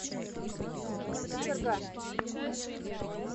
кочерга